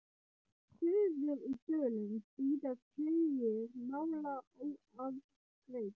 Suður í Dölum bíða tugir mála óafgreidd.